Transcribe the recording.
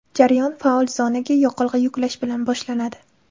Jarayon faol zonaga yoqilg‘i yuklash bilan boshlanadi.